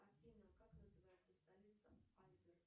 афина как называется столица альбер